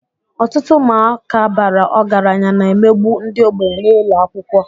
Ọtụtụ ụmụaka bara ọgaranya na-emegbu ndị ogbenye n'ụlọ akwụkwọ